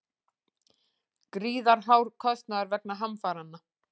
Gríðarhár kostnaður vegna hamfaranna